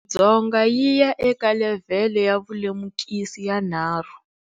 Afrika-Dzonga yi ya eka levhele yavulemukisi ya 3.